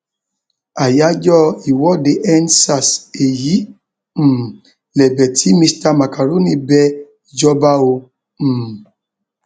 àyájọ ìwọdeendsars èyí um lẹbẹ tí mista macaroni bẹ ìjọba o um